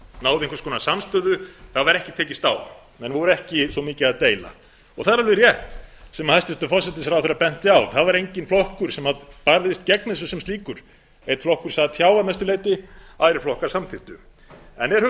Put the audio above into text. náðu einhvers konar samstöðu það var ekki tekist á menn voru ekki svo mikið að deila það er alveg rétt sem hæstvirtur forsætisráðherra benti á það var enginn flokkur sem barðist gegn þessu sem slíkur einn flokkur sat hjá að mestu leyti aðrir flokkar samþykktu en er